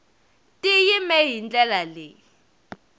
ti yime hi ndlela leyi